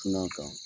Sina kan